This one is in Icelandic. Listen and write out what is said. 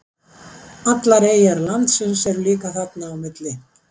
allar eyjar landsins eru líka þarna á milli